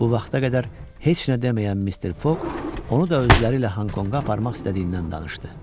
Bu vaxta qədər heç nə deməyən Mister Foq onu da özləri ilə Honkonga aparmaq istədiyindən danışdı.